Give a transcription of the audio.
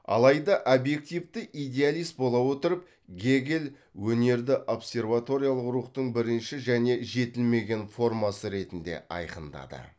алайда объективті идеалист бола отырып гегель өнерді абсерваториялық рухтың бірінші және жетілмеген формасы ретінде айқындады